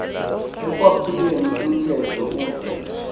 ekwaphuleni umthetho ude